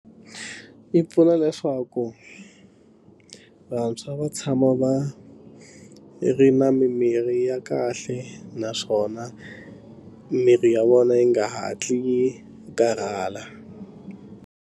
Yi pfuna leswaku vantshwa va tshama va ri na mimirhi ya kahle naswona mirhi ya vona yi nga hatli yi karhala.